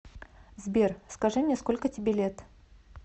сбер скажи мне сколько тебе лет